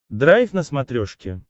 драйв на смотрешке